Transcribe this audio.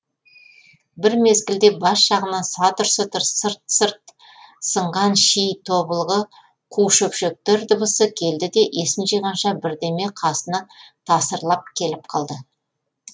бір мезгілде бас жағынан сатыр сұтыр сырт сырт сынған ши тобылғы қу шөпшектер дыбысы келді де есін жиғанша бірдеме қасына тасырлатып келіп қалды